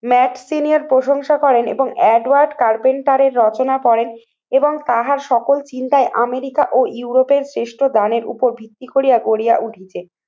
ম্যাক্সিনিয়ার প্রশংসা করেন এবং এডওয়ার্ড কার্পেন্ড তারের রচনা করেন এবং তাহার সকল চিন্তায় আমেরিকা ও ইউরোপের শ্রেষ্ঠ দানের উপর ভিত্তি করিয়া গড়িয়া উঠেছে।